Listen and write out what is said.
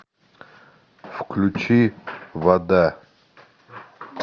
включи вода